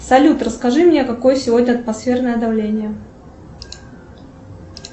салют расскажи мне какое сегодня атмосферное давление